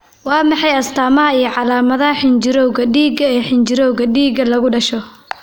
Waa maxay astamaha iyo calaamadaha xinjirowga dhiigga ee xinjirowga dhiigga, lagu dhasho?